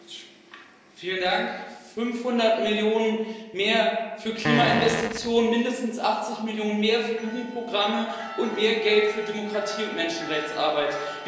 Herr Präsident! 500 Millionen EUR mehr für Klimainvestitionen, mindestens 80 Millionen EUR mehr für Jugendprogramme und mehr Geld für Demokratie und Menschenrechtsarbeit.